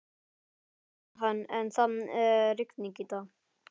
Jú, sagði hann, en það er rigning í dag.